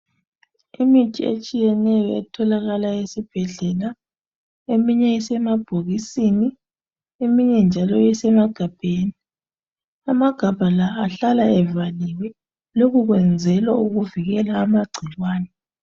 Imithi etshiyeneyo etholakala esibhedlela, eminye isemabhokisini, eminye njalo isemagabheni. Amagabha la ahlala evaliwe lokhu kwenzelwa ukuvikela amagcikwane.